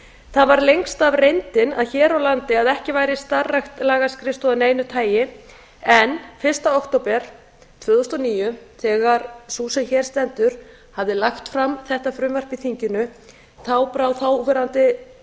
það var lengst af reyndin hér á landi að ekki væri starfrækt lagaskrifstofa af neinu tagi en fyrsta október tvö þúsund og níu þegar sú sem hér stendur hafði lagt fram þetta frumvarp í þinginu brá þáverandi